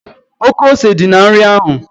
Oké ose dị na nri ahụ